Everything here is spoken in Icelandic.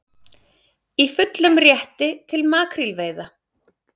Í fullum rétti til makrílveiða